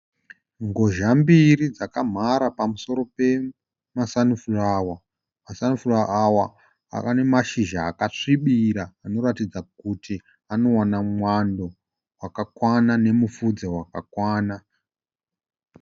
Ngozha mbiri dzakamhara pamusoro pemasanifurawa. Masanifurawa awa ava nemashizha akasvibira anoratidza kuti anowana mwando wakakwana nemufudze wakakwana.